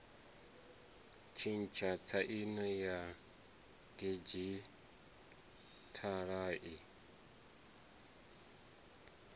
tshintsha tsaino ya didzhithala i